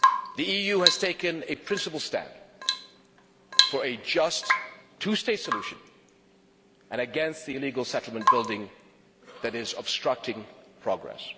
The EU has taken a principled stand for a just, two state solution, and against the settlement building that is obstructing progress.